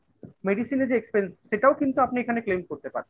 medicine এ যে expense সেটাও কিন্তু আপনি এখানে claim করতে পারছেন